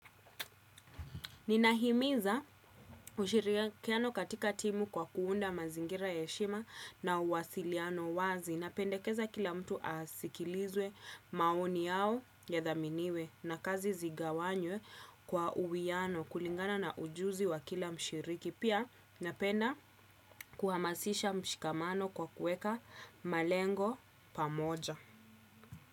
Nina himiza ushirikiano katika timu kwa kuunda mazingira ya heshima na uwasiliano wazi. Napendekeza kila mtu asikilizwe maoni yao yadhaminiwe na kazi zigawanywe kwa uwiano kulingana na ujuzi wa kila mshiriki. Pia napenda kuhamasisha mshikamano kwa kueka malengo pamoja.